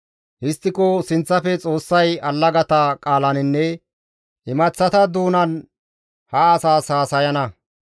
Histtiko sinththafe Xoossay allagata qaalaninne imaththata doonan ha asaas haasayana.